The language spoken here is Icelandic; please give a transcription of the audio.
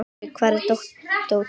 Frigg, hvar er dótið mitt?